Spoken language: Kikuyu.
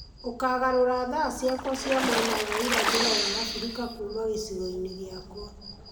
Ũkagarũra thaa ciakwa cia mwena wa irathĩro wa africa kuuma gicigo-inĩ giakwa